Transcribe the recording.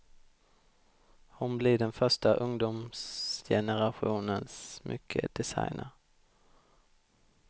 Hon blir den första ungdomsgenerationens smyckedesigner.